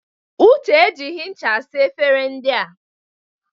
Uche e jighi ncha saa efere ndị a.